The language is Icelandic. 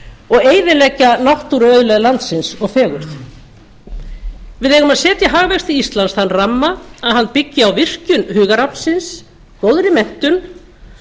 og eyðileggja náttúruauðlegð landsins og fegurð við eigum að setja hagvexti ísland þann ramma að hann byggi á virkjun hugaraflsins góðri menntun